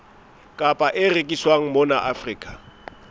kapa e rekiswang mona afrika